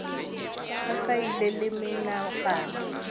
a sa ile le menagano